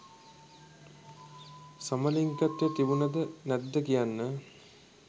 සමලිංගිකත්‍වය තිබුණද නැද්ද කියන්න